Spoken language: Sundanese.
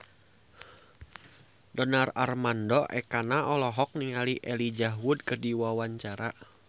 Donar Armando Ekana olohok ningali Elijah Wood keur diwawancara